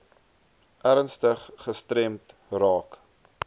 ernstig gestremd raak